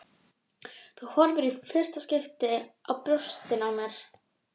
Þú horfir í fyrsta skipti á brjóstin á mér.